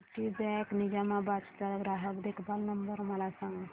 Citibank Nizamabad चा ग्राहक देखभाल नंबर मला सांगा